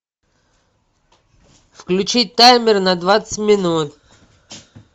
включить таймер на двадцать минут